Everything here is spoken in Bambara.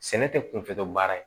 Sɛnɛ tɛ kunfɛ baara ye